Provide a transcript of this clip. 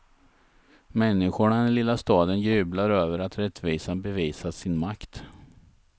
Människorna i den lilla staden jublar över att rättvisan bevisat sin makt.